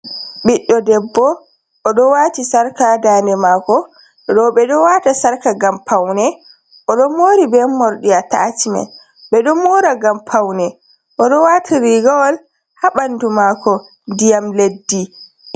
Ɓiɗɗo debbo, oɗo wati sarka ha dane mako, oɗo rewɓe ɗo wata sarka gam paune, o ɗon mori be morɗi atacimen, ɓe ɗon mora gam paune, o ɗo wati rigawol ha ɓandu mako diyam leddi.